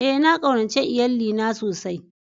Ee, na kaunace lyalli na sosai.